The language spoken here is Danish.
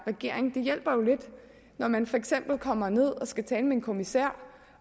regering det hjælper jo lidt når man for eksempel kommer ned og skal tale med en kommissær